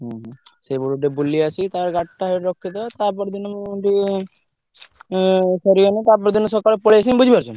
ହୁଁ। ସେଇପଟୁ ଟିକେ ବୁଲି ଆସି ତା ପରେ ଗାଡି ଟା ସେଇଠି ରଖିଦବା ତା ପର ଦିନ ମୁଁ ଉଁ ସରିଗଲେ ତା ପର ଦିନ ସକାଳେ ପଲେଇ ଆସିମି ବୁଝି ପାରୁଛୁ ନା।